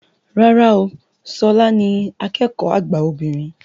Rárá o, ṣọlá ni akẹ́kọ̀ọ́ àgbà obìnrin